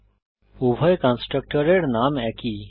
স্পষ্টত উভয় কন্সট্রাকটরের নাম একই